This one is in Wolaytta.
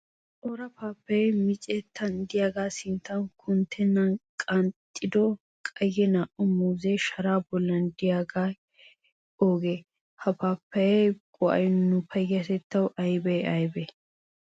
Cora paappayay micettan diyagaa sinttan kunttennan qanxxido qayye naa"u muuzzee sharaa bollan diyaagee oogee? Ha paappayaa go'ay nu payyatettawu ayibee ayibee?